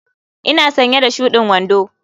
Ina sanye da shudin wando.